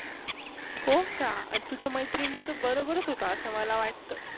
होका आणि तुझ्या मैत्रिणी तु बरोबरच आस मला वाटतं.